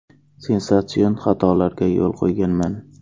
Sensatsion xatolarga yo‘l qo‘yganman.